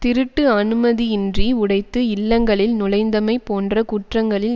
திருட்டு அனுமதியின்றி உடைத்து இல்லங்களில் நுழைந்தமை போன்ற குற்றங்களில்